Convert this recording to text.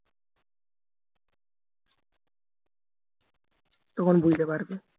তখন বুঝতে পারবে